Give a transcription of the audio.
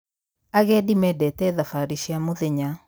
Agendi mendete thabarĩ cia mũthenya.